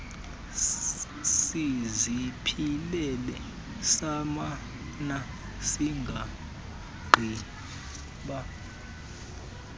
siziphilele sasimana singqiba